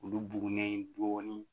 Olu bugunen dɔɔnin